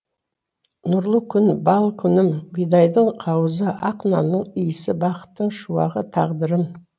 нұрлы күн бал күнім бидайдың қауызы ақ нанның иісі бақыттың шуағы тағдырым